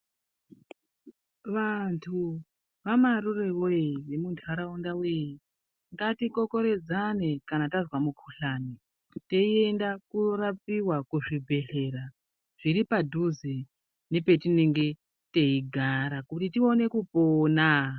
Vantu vamarure voye vemuntaraunda voye, ngatikokorodzane kana tazwa mukuhlani. Kuti tienda korapiva kuzvibhedhlera zviri padhuze nepetinenge teigara kuti tione kupona.